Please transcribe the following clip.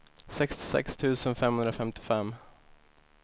sextiosex tusen femhundrafemtiofem